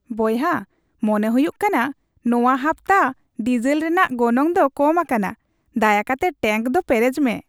ᱵᱚᱭᱦᱟ, ᱢᱚᱱᱮ ᱦᱩᱭᱩᱜ ᱠᱟᱱᱟ ᱱᱚᱶᱟ ᱦᱟᱯᱛᱟ ᱰᱤᱥᱮᱞ ᱨᱮᱭᱟᱜ ᱜᱚᱱᱚᱝ ᱫᱚ ᱠᱚᱢ ᱟᱠᱟᱱᱟ ᱾ ᱫᱟᱭᱟ ᱠᱟᱛᱮ ᱴᱮᱝᱠ ᱫᱚ ᱯᱮᱨᱮᱪ ᱢᱮ ᱾